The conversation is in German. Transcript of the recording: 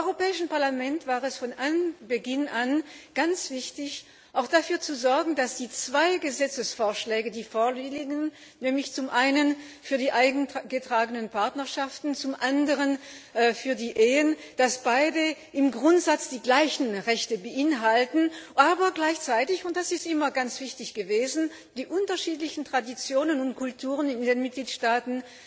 Dem Europäischen Parlament war es von Beginn an ganz wichtig, auch dafür zu sorgen, dass die zwei Gesetzesvorschläge, die vorliegen nämlich zum einen für die eingetragenen Partnerschaften, zum anderen für die Ehen beide im Grundsatz die gleichen Rechte beinhalten, aber gleichzeitig und das ist immer ganz wichtig gewesen die unterschiedlichen Traditionen und Kulturen in den Mitgliedstaaten